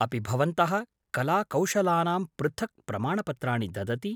अपि भवन्तः कलाकौशलानां पृथक् प्रमाणपत्राणि ददति?